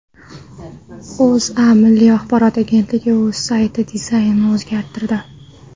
O‘zA Milliy axborot agentligi o‘z sayti dizaynini o‘zgartirdi.